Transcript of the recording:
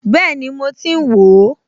Bẹ́ẹ̀ni, mo ti ń wò ó